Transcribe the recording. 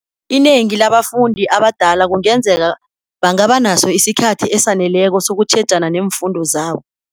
Inengi labafundi abadala kungenzeka bangaba naso isikhathi esaneleko sokutjhejana neemfundo zabo.